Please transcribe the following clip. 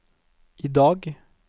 idag